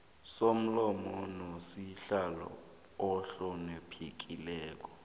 somlomo nosihlalo ohloniphekileko